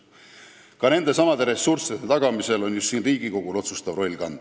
Ka nendesamade ressursside tagamisel on just Riigikogul otsustav roll kanda.